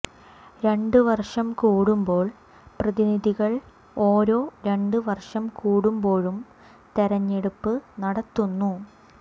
രണ്ട് വർഷം കൂടുമ്പോൾ പ്രതിനിധികൾ ഓരോ രണ്ട് വർഷം കൂടുമ്പോഴും തെരഞ്ഞെടുപ്പ് നടത്തുന്നു